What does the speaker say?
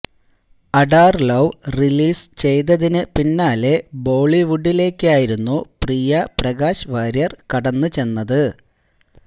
Adaar love release ചെയ്തതിന് പിന്നാലെ ബോളിവുഡിലേക്കായിരുന്നു പ്രിയ പ്രകാശ് വാര്യര് കടന്ന് ചെന്നത്